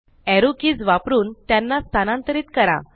arrow keys वापरून त्यांना स्थानांतरीत करा